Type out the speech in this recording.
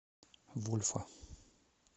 вольфа